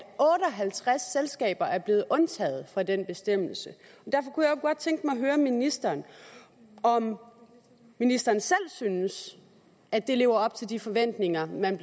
otte og halvtreds selskaber er blevet undtaget fra den bestemmelse og godt tænke mig at høre ministeren om ministeren selv synes at det lever op til de forventninger man